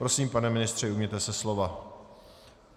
Prosím, pane ministře, ujměte se slova.